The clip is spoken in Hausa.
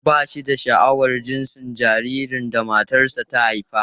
Ba shi da sha'awar jinsin jaririn da matarsa ​​ta haifa.